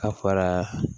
A fɔra